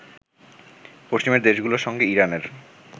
পশ্চিমের দেশগুলোর সঙ্গে ইরানের